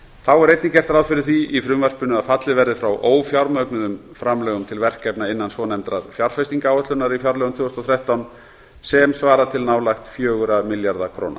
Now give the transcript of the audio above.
þá er einnig gert ráð fyrir því í frumvarpinu að fallið verði frá ófjármögnuðum framlögum til verkefna innan svonefndrar fjárfestingaráætlunar í fjárlögum tvö þúsund og þrettán sem svara til nálægt fjögurra milljarða króna